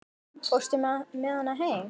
Fórstu með hana heim?